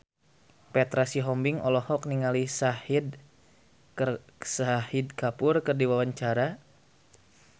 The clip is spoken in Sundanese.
Petra Sihombing olohok ningali Shahid Kapoor keur diwawancara